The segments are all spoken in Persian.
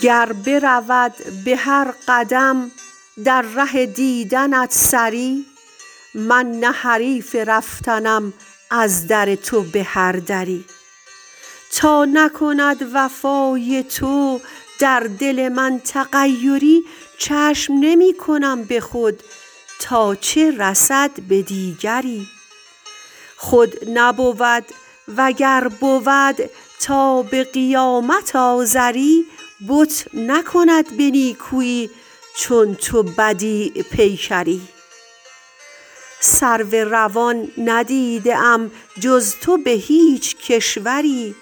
گر برود به هر قدم در ره دیدنت سری من نه حریف رفتنم از در تو به هر دری تا نکند وفای تو در دل من تغیری چشم نمی کنم به خود تا چه رسد به دیگری خود نبود و گر بود تا به قیامت آزری بت نکند به نیکویی چون تو بدیع پیکری سرو روان ندیده ام جز تو به هیچ کشوری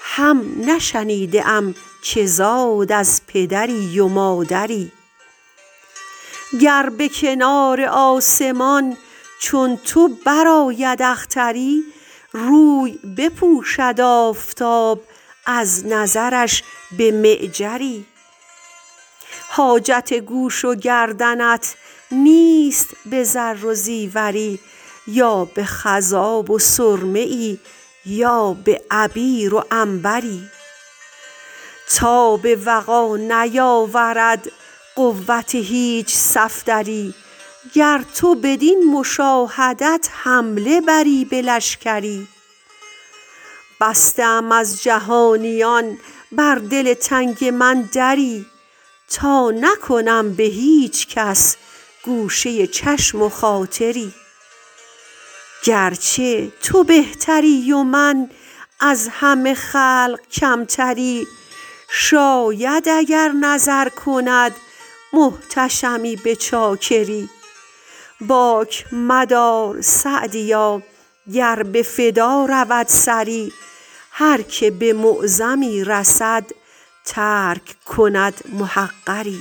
هم نشنیده ام که زاد از پدری و مادری گر به کنار آسمان چون تو برآید اختری روی بپوشد آفتاب از نظرش به معجری حاجت گوش و گردنت نیست به زر و زیوری یا به خضاب و سرمه ای یا به عبیر و عنبری تاب وغا نیاورد قوت هیچ صفدری گر تو بدین مشاهدت حمله بری به لشکری بسته ام از جهانیان بر دل تنگ من دری تا نکنم به هیچ کس گوشه چشم خاطری گرچه تو بهتری و من از همه خلق کمتری شاید اگر نظر کند محتشمی به چاکری باک مدار سعدیا گر به فدا رود سری هر که به معظمی رسد ترک دهد محقری